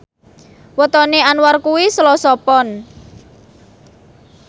wetone Anwar kuwi Selasa Pon